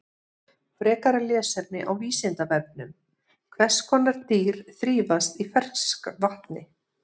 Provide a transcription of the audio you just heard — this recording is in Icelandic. Frekara lesefni á Vísindavefnum: Hvers konar dýr þrífast í ferskvatni?